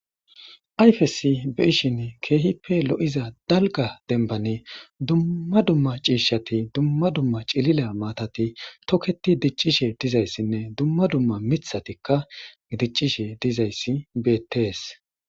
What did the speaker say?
ayfesi be ishin keehippe lo7iza dalga denbane dumma dumma ciishshati dumma dumma cilila maatati toketi diccishe dizayssinne dumma dumma mithatikka diccishe dizayssi beettees